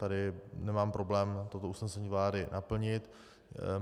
Tady nemám problém toto usnesení vlády naplnit.